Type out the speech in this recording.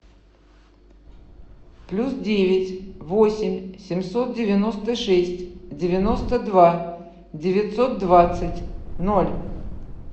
плюс девять восемь семьсот девяносто шесть девяносто два девятьсот двадцать ноль